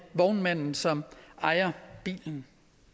vognmanden som ejer bilen